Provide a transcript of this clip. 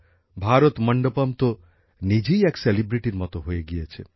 ভারত মণ্ডপম তো নিজেই বিখ্যাত মত হয়ে গিয়েছে